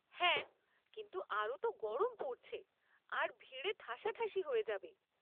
হ্যাঁ, কিন্তু আরও তো গরম পরছে আর ভিড়ে ঠাসাঠাসি হয়ে যাবে।